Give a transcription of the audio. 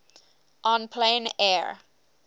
en plein air